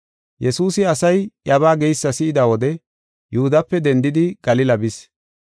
Yesuusi asay iyabaa geysa si7ida wode Yihudape dendidi Galila bis.